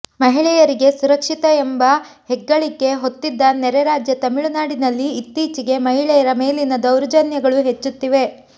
ಮಹಿಳೆಯರಿಗೆ ಸುರಕ್ಷಿತ ಎಂಬ ಹೆಗ್ಗಳಿಕೆ ಹೊತ್ತಿದ್ದ ನೆರೆ ರಾಜ್ಯ ತಮಿಳುನಾಡಿನಲ್ಲಿ ಇತ್ತೀಚಿಗೆ ಮಹಿಳೆಯರ ಮೇಲಿನ ದೌರ್ಜನ್ಯಗಳು ಹೆಚ್ಚುತ್ತಿವೆ